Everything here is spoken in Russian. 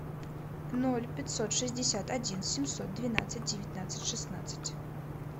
ноль пятьсот шестьдесят один семьсот двенадцать девятнадцать шестнадцать